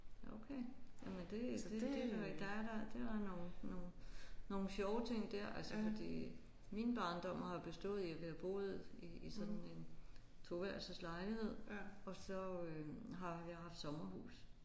Okay jamen det det er da der er da det er da nogle nogle nogle sjove ting der altså fordi min barndom har bestået i at vi har boet i i sådan en toværelses lejlighed og så øh har vi haft sommerhus